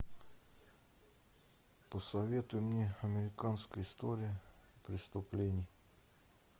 посоветуй мне американская история преступлений